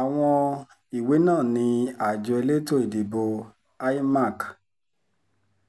àwọn ìwé náà ni àjọ elétò ìdìbò imac